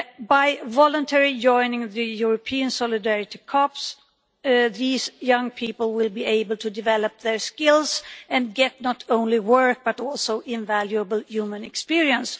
By voluntarily joining the European Solidarity Corps, these young people will be able to develop their skills and get not only work but also invaluable human experience.